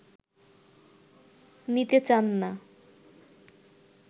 নিতে চান না